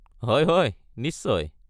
হয় হয় নিশ্চয়।